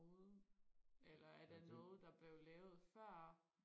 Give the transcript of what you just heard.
ud eller er det noget der blev lavet før